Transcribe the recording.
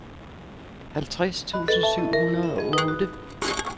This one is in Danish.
halvtreds tusind syv hundrede og otte